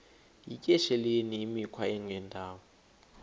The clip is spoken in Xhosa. yityesheleni imikhwa engendawo